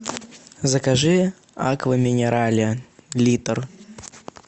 закажи аква минерале литр